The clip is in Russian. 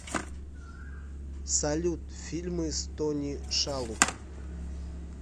салют фильмы с тони шалуб